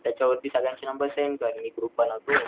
तर त्याच्या वरती सगळ्यांचे नंबर सेंड कर मी ग्रुप बनवतो,